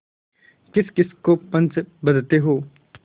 किसकिस को पंच बदते हो